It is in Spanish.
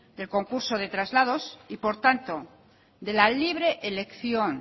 del concurso de traslados y por tanto de la libre elección